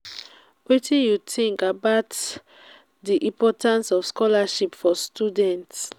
wetin you think about about di importance of scholarships for students?